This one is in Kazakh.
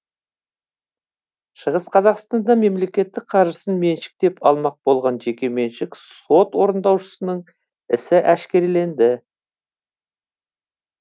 шығыс қазақстанда мемлекеттік қаржысын меншіктеп алмақ болған жеке меншік сот орындаушысының ісі әшкереленді